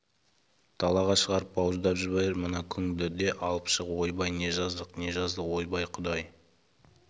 далаға шығарып бауыздап жібер мына күңді де алып шық ойбай не жаздық не жаздық ойбай құдай